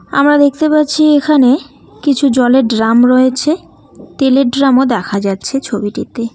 আমরা দেখতে পাচ্ছি এখানে কিছু জলের ড্রাম রয়েছে তেলের ড্রামও দেখা যাচ্ছে ছবিটিতে।